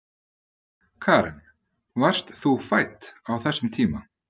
Karen: Varst þú fædd á þessum tíma?